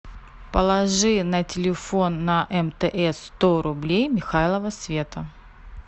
положи на телефон на мтс сто рублей михайлова света